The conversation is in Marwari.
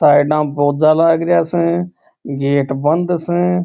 साइड में पौधे लग रहे स गेट बंद स।